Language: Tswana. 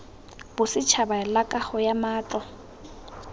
bosetšhaba la kago ya matlo